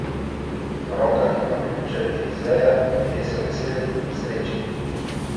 V rokah ima ključe Elizeja, ljudje so veseli, srečni.